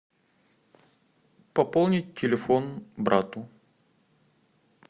пополнить телефон брату